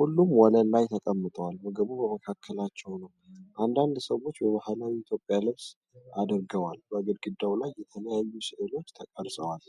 ሁሉም ወለል ላይ ተቀምጠዋል፣ ምግቡም በመካከላቸው ነው። አንዳንድ ሰዎች በባህላዊ የኢትዮጵያ ልብስ አድርገዋል። በግድግዳው ላይ የተለያዩ ሥዕሎች ተቀርጸዋል።